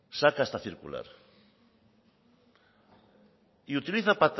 saca esta circular y utiliza